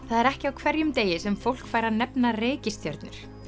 það er ekki á hverjum degi sem fólk fær að nefna reikistjörnur